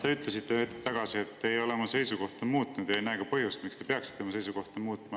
Te ütlesite hetk tagasi, et te ei ole oma seisukohta muutnud ja ei näe ka põhjust, miks te peaksite oma seisukohta muutma.